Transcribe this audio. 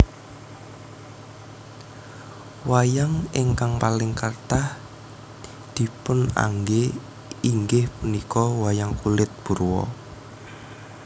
Wayang ingkang paling kathah dipunanggé inggih punika wayang kulit purwa